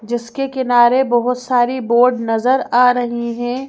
जिसके किनारे बहुत सारी बोर्ड नजर आ रही हैं।